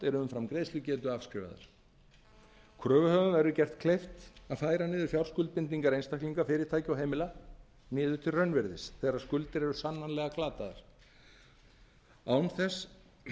eru umfram greiðslugetu afskrifaðar kröfuhöfum verður gert kleift að færa niður fjárskuldbindingar einstaklinga fyrirtækja og heimila niður til raunvirðis þegar skuldir eru sannanlega glataðar án þess